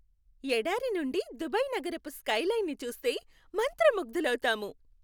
ఎడారి నుండి దుబాయ్ నగరపు స్కైలైన్ని చూస్తే మంత్రముగ్దులవుతాము.